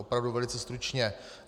Opravdu velice stručně.